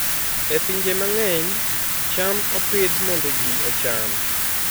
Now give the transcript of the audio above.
E pinje mang'eny, cham opidh mondo ji ocham.